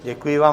Děkuji vám.